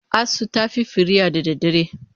Asu ta fi firiya da dare.